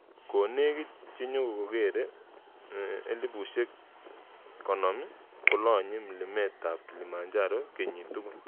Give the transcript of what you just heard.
Konekit chenyokokere 50,000 kolonye mlimet Kilimanjaro kenyit tugul.